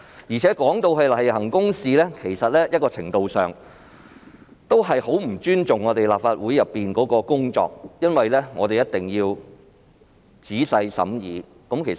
若說這是例行公事，在某程度上其實是極不尊重我們在立法會的工作，因為我們一定要作出仔細的審議。